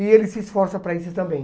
E ele se esforça para isso também.